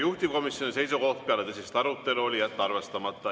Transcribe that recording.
Juhtivkomisjoni seisukoht peale tõsist arutelu oli jätta arvestamata.